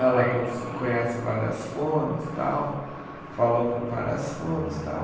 Ela cons conhece várias fonos, tal, falou com várias fonos, tal.